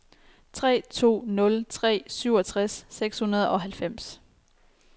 tre to nul tre syvogtres seks hundrede og halvfems